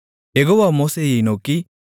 யெகோவா மோசேயை நோக்கி